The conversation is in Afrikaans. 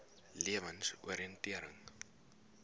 lewensoriëntering